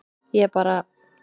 Ég bara